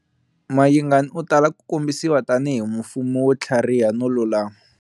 Mayingani u tala ku kombisiwa tanihi mufumi wo tlhariha no lulama.